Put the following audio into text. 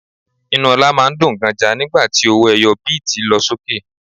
Inú ọlá máa ń dùn ganja nígbà tí owó ẹyọ bíítì lọ sókè.